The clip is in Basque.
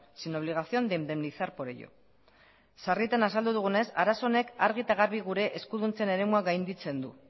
sin obligación de indemnizar por ello sarritan azaldu dugunez arazo honek argi eta garbi gure eskuduntzen eremua gainditzen du